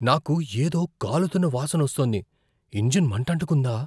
నాకు ఏదో కాలుతున్న వాసన వస్తోంది. ఇంజిన్ మంటంటుకుందా?